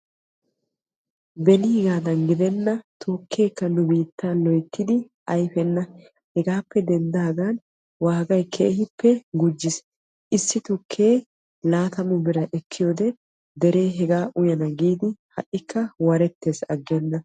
Benigaadan gidenna ha'i tukke ayfenna hegaa gishawu gatee keehippe gujjiis. Issuwa gatee 20birra hegaa uyana giidi asay ha'ikka warettees.